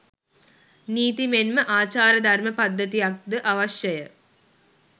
නීති මෙන්ම ආචාරධර්ම පද්ධතියක්ද අවශ්‍යය.